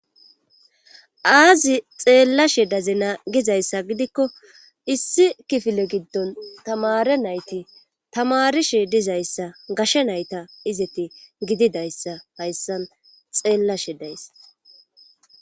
Aazi xeelashe dizana gizayssa gidikko issi kifile giddon tammare nayti tamaarishe dizyassa gashe nayta izati gididayssa hayssan xeellashe days.